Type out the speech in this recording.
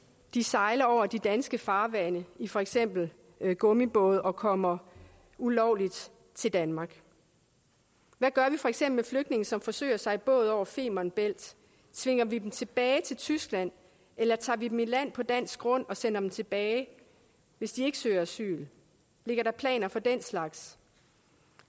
de sejler over de danske farvande i for eksempel gummibåde og kommer ulovligt til danmark hvad gør vi for eksempel med flygtninge som forsøger sig i båd over femern bælt tvinger vi dem tilbage til tyskland eller tager vi dem i land på dansk grund og sender dem tilbage hvis de ikke søger asyl ligger der planer for den slags